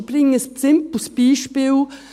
Ich bringe ein simples Beispiel.